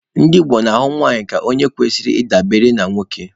Ndị Igbo na-ahụ nwanyị ka onye kwesịrị ị dabere na nwoke.